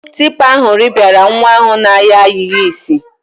Tipa ahụ rịpịara nwa ahụ na-ayọ ayịyọ isi.